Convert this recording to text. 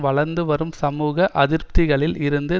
வளர்ந்து வரும் சமூக அதிருப்திகளில் இருந்து